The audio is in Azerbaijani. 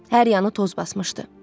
Hər yanı toz basmışdı.